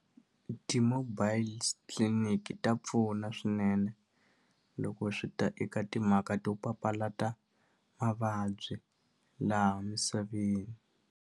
Ti-mobiles clinic ta pfuna swinene loko swi ta eka timhaka to papalata mavabyi laha misaveni.